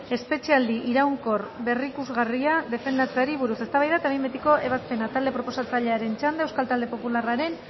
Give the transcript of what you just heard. espetxealdi iraunkor berrikusgarria defendatzeari buruz eztabaida eta behin betiko ebazpena talde proposatzailearen txanda euskal talde popularraren